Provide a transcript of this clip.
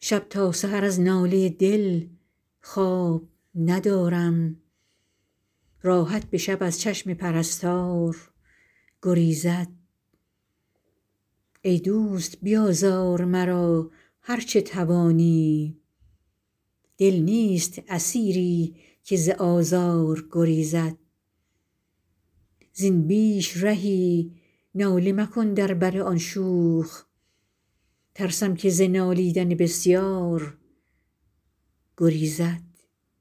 شب تا سحر از ناله دل خواب ندارم راحت به شب از چشم پرستار گریزد ای دوست بیازار مرا هرچه توانی دل نیست اسیری که ز آزار گریزد زین بیش رهی ناله مکن در بر آن شوخ ترسم که ز نالیدن بسیار گریزد